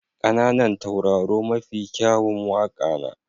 ƙananan tauraro mafi kyawun waƙa na.